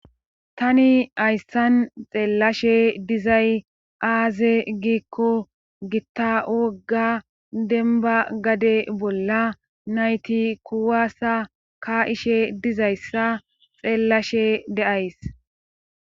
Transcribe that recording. Tani hayssan xeellashe dizay aaze giikko gitta wogga denba gade bolla nayti kuwaasa ka7ishe dizayssa xeellashe de'ays